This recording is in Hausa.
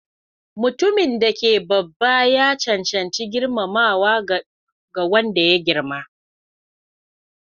Mutumin da yake babba ya cancanci girmamawa daga wanda ya girma.